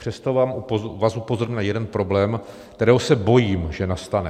Přesto vás upozorňuji na jeden problém, kterého se bojím, že nastane.